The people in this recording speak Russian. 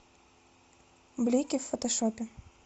блики в фотошопе